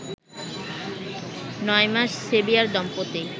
নয় মাস সেভিয়ার দম্পতি